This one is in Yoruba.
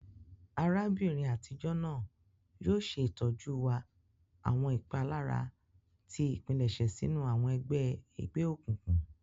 Arabinrin atijọ naa yoo ṣe itọsọna wa awọn ipalara ti ipilẹṣẹ sinu awọn ẹgbẹ egbeokunkun.